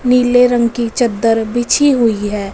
नीले रंग की चद्दर बिछी हुईं हैं।